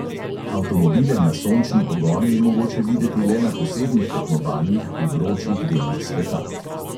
Avtomobile na sončni pogon je mogoče videti le na posebnih tekmovanjih v vročih delih sveta.